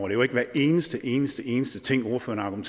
er jo ikke hver eneste eneste eneste ting ordføreren